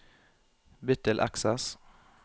Bytt til Access